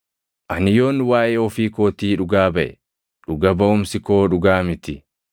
“Ani yoon waaʼee ofii kootii dhugaa baʼe, dhuga baʼumsi koo dhugaa miti.